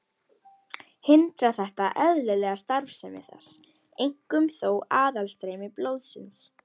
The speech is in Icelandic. Hindrar þetta eðlilega starfsemi þess, einkum þó aðstreymi blóðsins.